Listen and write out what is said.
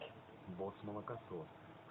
босс молокосос